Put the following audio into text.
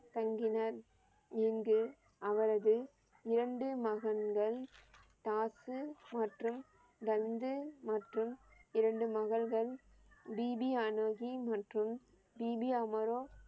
தங்கினர். இங்கு அவரது இரண்டு மகன்கள் டாக்சு மற்றும் லந்து மற்றும் இரண்டு மகள்கள் பிபி அனோகி மற்றும் பிபி அமரோ